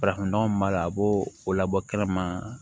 Farafin nɔgɔ min b'a la a b'o labɔ kɛnɛma